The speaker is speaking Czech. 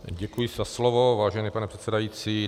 Děkuji za slovo, vážený pane předsedající.